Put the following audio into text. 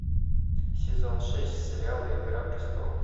сезон шесть сериала игра престолов